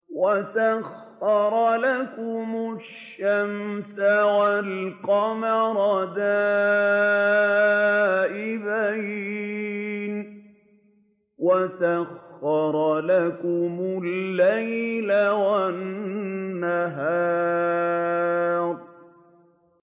وَسَخَّرَ لَكُمُ الشَّمْسَ وَالْقَمَرَ دَائِبَيْنِ ۖ وَسَخَّرَ لَكُمُ اللَّيْلَ وَالنَّهَارَ